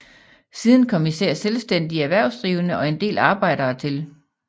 Siden kom især selvstændige erhvervsdrivende og en del arbejdere til